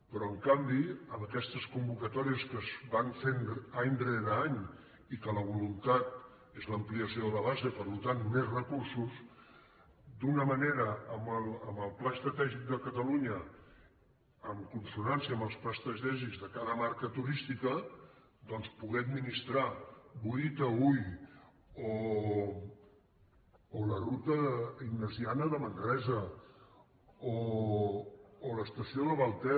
però en canvi amb aquestes convocatòries que es van fent any rere any i que la voluntat és l’ampliació de la base per tant més recursos d’alguna manera amb el pla estratègic de catalunya en consonància amb els plans estratègics de cada marca turística doncs poder administrar boí taüll o la ruta ignasiana de manresa o l’estació de vallter